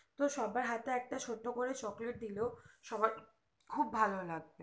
তো সবার হাতে একটা ছুট্ট করে chocolate দিলেও সবার খুব ভালো লাগবে